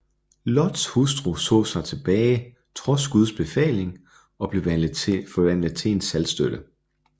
Lots hustru så sig tilbage trods Guds befaling og blev forvandlet til en saltstøtte